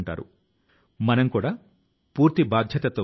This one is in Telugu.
ఇప్పుడు ఈ జంక్యార్డ్ ను ప్రాంగణం గా ఫలహారశాల గా మార్చారు